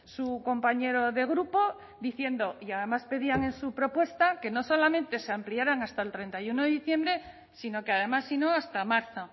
su compañero de grupo diciendo y además pedían en su propuesta que no solamente se ampliaran hasta el treinta y uno de diciembre sino que además sino hasta marzo